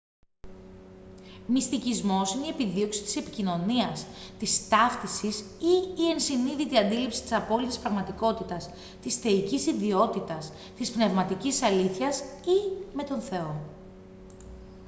μυστικισμός είναι η επιδίωξη της επικοινωνίας της ταύτισης ή η ενσυνείδητη αντίληψη της απόλυτης πραγματικότητας της θεϊκής ιδιότητας της πνευματικής αλήθειας ή με τον θεό